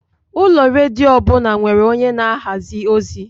Ụlọ redio ọbụna nwere onye na-ahazi ozi.